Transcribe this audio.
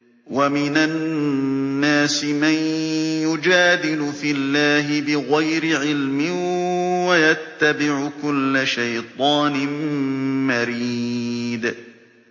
وَمِنَ النَّاسِ مَن يُجَادِلُ فِي اللَّهِ بِغَيْرِ عِلْمٍ وَيَتَّبِعُ كُلَّ شَيْطَانٍ مَّرِيدٍ